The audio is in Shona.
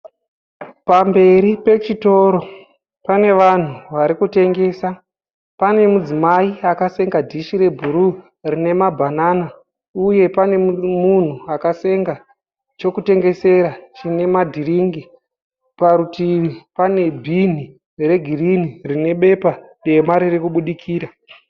Pamberi pechitoro pane vanhu vari kutengesa. Pane mudzimai akasenga dhishi rebhuruu rine mabhanana uye pane munhu akasenga chokutengesera chine ma dhiriki. Parutivi pane bhini regirinhi rine bepa dema ririkubudikira.